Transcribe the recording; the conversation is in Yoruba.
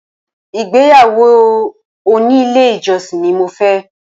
Ìgbéyàwó òní ilé ìjọsìn ni mo fẹ́